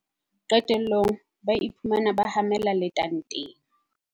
Qetellong ba iphumana ba hamela letanteng!